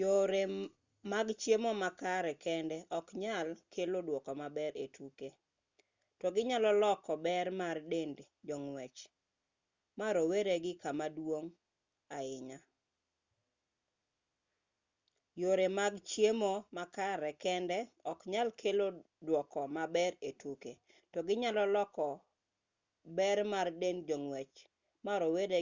yore mag chiemo makare kende oknyal kelo duoko maber e tuke to ginyalo loko ber mar dend jong'wech ma rowere